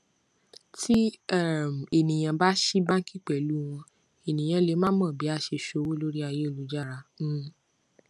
tí um ènìyàn bá ṣí báńkì pẹlú wón ènìyàn lè má mo bí a se ṣòwò lori ayélujára um